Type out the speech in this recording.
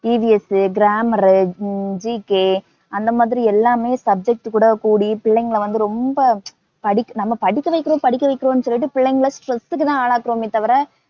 EVSgrammar ஊ ஹம் GK அந்த மாதிரி எல்லாமே subject கூட கூடி பிள்ளைங்கள வந்து ரொம்ப நம்ம படிக்கவைக்கிறோம் படிக்கவைக்கிறோம்னு சொல்லிட்டு புள்ளைங்கள stress க்கு தான் ஆளாக்குறோமே தவிர